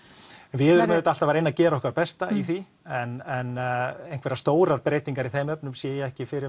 við erum auðvitað alltaf að reyna að gera okkar besta í því en einhverjar stórar breytingar í þeim efnum sé ég ekki fyrir